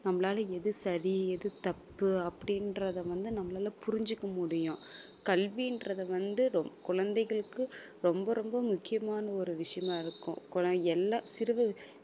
நம்மளால எது சரி எது தப்பு அப்படின்றதை வந்து நம்மளால புரிஞ்சுக்க முடியும் கல்வின்றது வந்து ரொ~ குழந்தைகளுக்கு ரொம்ப ரொம்ப முக்கியமான ஒரு விஷயமா இருக்கும் எல்லாம் சிறு